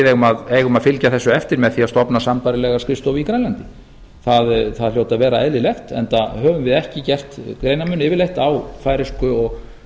við eigum að fylgja þessu eftir með því að stofna sambærilega skrifstofu í grænlandi það hlýtur að vera eðlilegt enda höfum við ekki gert greinarmun yfirleitt á færeysku og